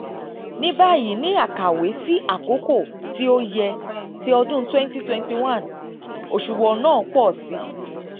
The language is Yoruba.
ní báyìí ní àkàwé sí àkókò tí ó yẹ ti ọdún twenty twenty one òṣùwọ̀n náà pọ̀ si.